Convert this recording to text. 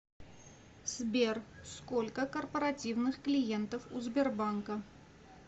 сбер сколько корпоративных клиентов у сбербанка